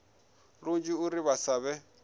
lunzhi uri vha sa vhe